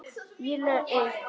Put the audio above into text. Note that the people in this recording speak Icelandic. Ég laug.